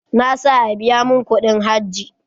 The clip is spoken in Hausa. Na sa a biya mun kudin hajj